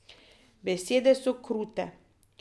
Besede so krute.